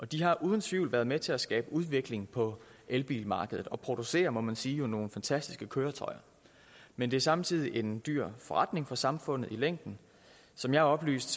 de har uden tvivl været med til at skabe udvikling på elbilmarkedet og der produceres må man sige nogle fantastiske køretøjer men det er samtidig en dyr forretning for samfundet i længden som jeg er oplyst